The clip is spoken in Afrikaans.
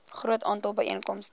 groot aantal byeenkomste